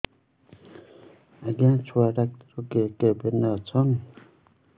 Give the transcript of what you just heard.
ଆଜ୍ଞା ଛୁଆ ଡାକ୍ତର କେ କେବିନ୍ ରେ ଅଛନ୍